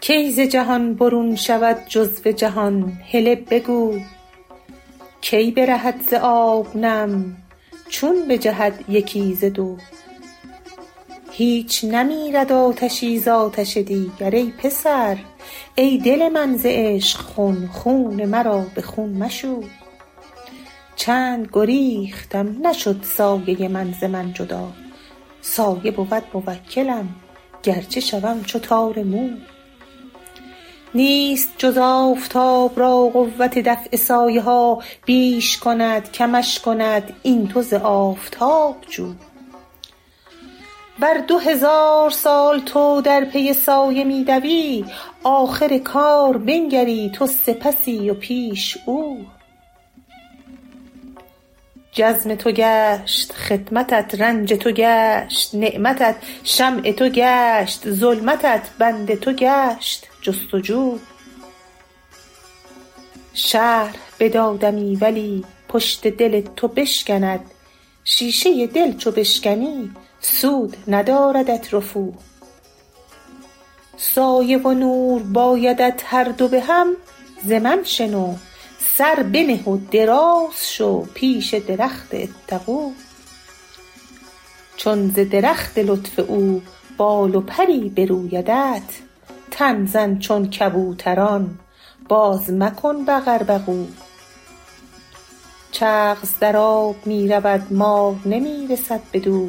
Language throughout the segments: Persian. کی ز جهان برون شود جزو جهان هله بگو کی برهد ز آب نم چون بجهد یکی ز دو هیچ نمیرد آتشی ز آتش دیگر ای پسر ای دل من ز عشق خون خون مرا به خون مشو چند گریختم نشد سایه من ز من جدا سایه بود موکلم گرچه شوم چو تار مو نیست جز آفتاب را قوت دفع سایه ها بیش کند کمش کند این تو ز آفتاب جو ور دو هزار سال تو در پی سایه می دوی آخر کار بنگری تو سپسی و پیش او جرم تو گشت خدمتت رنج تو گشت نعمتت شمع تو گشت ظلمتت بند تو گشت جست و جو شرح بدادمی ولی پشت دل تو بشکند شیشه دل چو بشکنی سود نداردت رفو سایه و نور بایدت هر دو به هم ز من شنو سر بنه و دراز شو پیش درخت اتقوا چون ز درخت لطف او بال و پری برویدت تن زن چون کبوتران بازمکن بقوبقو چغز در آب می رود مار نمی رسد بدو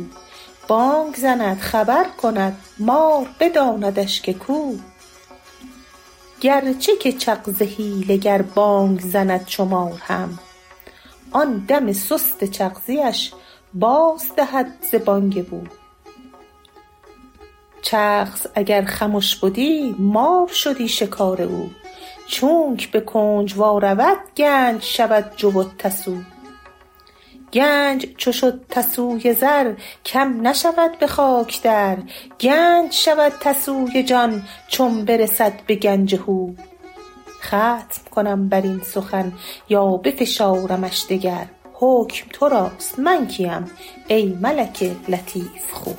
بانگ زند خبر کند مار بداندش که کو گرچه که چغز حیله گر بانگ زند چو مار هم آن دم سست چغزیش بازدهد ز بانگ بو چغز اگر خمش بدی مار شدی شکار او چونک به کنج وا رود گنج شود جو و تسو گنج چو شد تسوی زر کم نشود به خاک در گنج شود تسوی جان چون برسد به گنج هو ختم کنم بر این سخن یا بفشارمش دگر حکم تو راست من کیم ای ملک لطیف خو